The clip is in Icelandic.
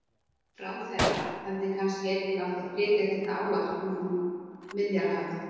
Ráðherra hefði kannski einnig átt að flytja þetta ávarp við Miðjarðarhafið?